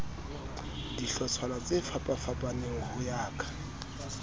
dihlotshwana tsefapafapaneng ho ya ka